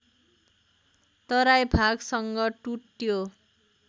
तराई भागसँग टुट्यो